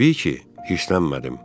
Təbii ki, hirslənmədim.